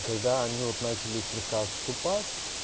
когда они вот начались слегка отступать